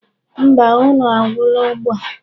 Mba, nnu agwula ugbu a.